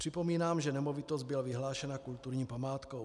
Připomínám, že nemovitost byla vyhlášena kulturní památkou.